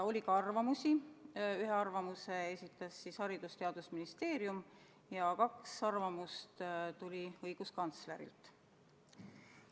Oli arvamusi: ühe esitas Haridus- ja Teadusministeerium ja kaks tuli õiguskantslerilt.